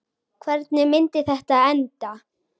Hvernig myndi þetta enda?